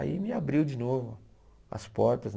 Aí me abriu de novo as portas, né?